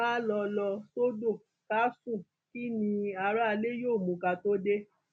ká lọ lọ sọdọ ká sún kín ní aráalé yóò mú ká tóó dé